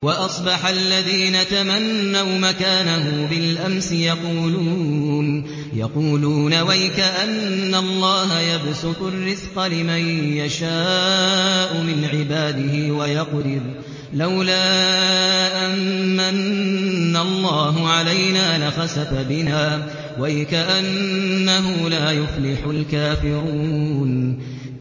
وَأَصْبَحَ الَّذِينَ تَمَنَّوْا مَكَانَهُ بِالْأَمْسِ يَقُولُونَ وَيْكَأَنَّ اللَّهَ يَبْسُطُ الرِّزْقَ لِمَن يَشَاءُ مِنْ عِبَادِهِ وَيَقْدِرُ ۖ لَوْلَا أَن مَّنَّ اللَّهُ عَلَيْنَا لَخَسَفَ بِنَا ۖ وَيْكَأَنَّهُ لَا يُفْلِحُ الْكَافِرُونَ